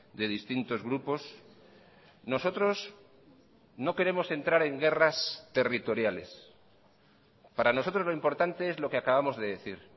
de distintos grupos nosotros no queremos entrar en guerras territoriales para nosotros lo importante es lo que acabamos de decir